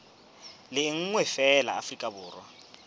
le nngwe feela afrika borwa